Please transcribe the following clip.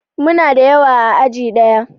Muna da yawa a aji ɗaya